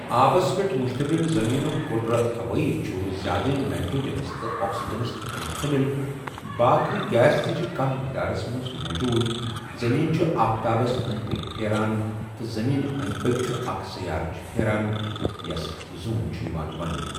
آبَس پؠٹھ مشتمِل زمینُک کُرٕ ہوٲیی چُھ زیٛادٕ نایيٖٹرٛوجنس تہٕ آکسيٖجنَس پؠٹھ مشتمِل باقی گیس تہِ چِھ کم مٮ۪قدارس مَنٛز موجود زمین چُھ آفتابَس أندۍ پٔکۍ پھیران تہٕ زمیٖن أنٛدۍ پٔکۍ چُھ اَکھ سیارٕچہِ پھیران یَس زوٗن چھُ یوان وننہٕ۔